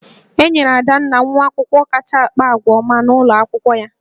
E nyere Adanna nwa akwụkwọ kacha akpa àgwà ọma n'ụlọ akwụkwọ ya